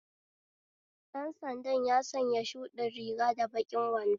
Dan sanda ya sanya shuɗin riga da baƙin wando